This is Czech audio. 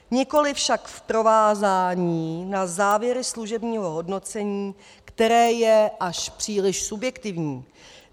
Nikoli však v provázání na závěry služebního hodnocení, které je až příliš subjektivní.